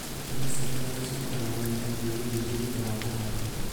Nyeni cia matharũ cirutaga magetha mĩeri mĩingĩ thutha wa kũhandwo